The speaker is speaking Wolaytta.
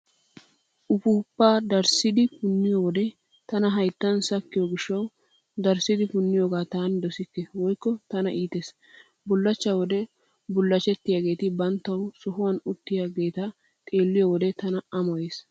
Uppuuppaa darissidi punniyoode tana hayttan sakkiyo gishshawu darissidi punniyoogaa taani dosikke woykko tana iitees. Bullachchaa wode bullachchettiyaageeti banttawu sohuwan uttiyaageeta xeelliyo wode tana amoyees.